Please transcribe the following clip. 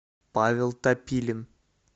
павел топилин